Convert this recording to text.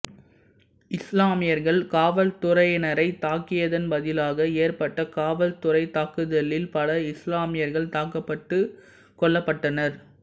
இஸ்லாமியர்கள் காவல்துறையினரை தாக்கியதன் பதிலாக ஏற்பட்ட காவல்துறைத் தாக்குதலில் பல இஸ்லாமியர்கள் தாக்கப்பட்டுக் கொல்லப்பட்டனர்